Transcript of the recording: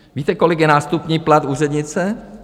Víte, kolik je nástupní plat úřednice?